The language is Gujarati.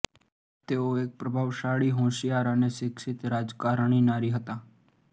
તેઓ એક પ્રભાવશાળી હોંશિયાર અને શિક્ષિત રાજકારણી નારી હતાં